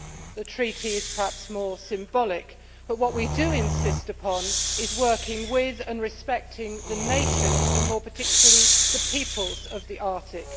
The treaty is perhaps more symbolic, but what we do insist upon is working with and respecting the nations and, more particularly, the peoples of the Arctic.